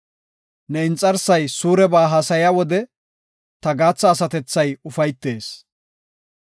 Ne inxarsay suureba haasaya wode, ta gaatha asatethay ufaytees.